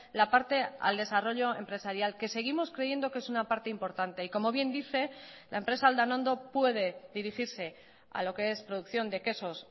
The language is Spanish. la parte al desarrollo empresarial que seguimos creyendo que es una parte importante y como bien dice la empresa aldanondo puede dirigirse a lo que es producción de quesos